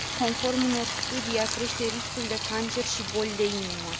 Conform unor studii, ea crește riscul de cancer și boli de inimă.